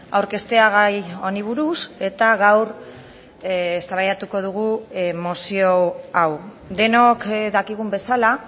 aurkeztea gai honi buruz eta gaur eztabaidatuko dugu mozio hau denok dakigun bezala